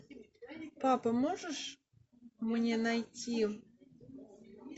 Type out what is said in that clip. папа можешь мне найти